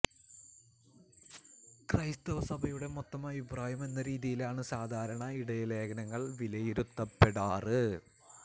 ക്രൈസ്തവ സഭയുടെ മൊത്തം അഭിപ്രായം എന്ന രീതിയിലാണ് സാധാരണ ഇടയലേഖനങ്ങള് വിലയിരുത്തപ്പെടാറ്